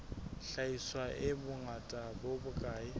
hlahiswa e bongata bo bokae